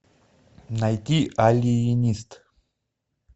найди алиенист